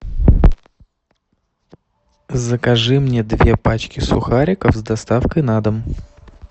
закажи мне две пачки сухариков с доставкой на дом